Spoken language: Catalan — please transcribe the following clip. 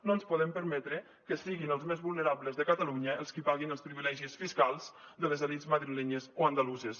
no ens podem permetre que siguin els més vulnerables de catalunya els qui paguin els privilegis fiscals de les elits madrilenyes o andaluses